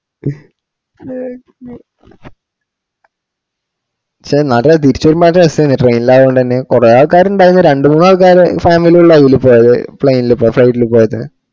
ഷെ ടേ തിരിച്ചവരുമ്പോള് നല്ല രാസേനും train ല് ആയോണ്ട് എന്നെ കൊറേ ആള്ക്കാര് ഇണ്ടായിര്ന്ന് രണ്ടുമൂന്നു ആൾക്കാരെ family അല്ലേ അയില് പോയത് plain പോയ flight പോയത്